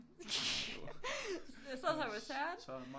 Jeg sad sammen med Søren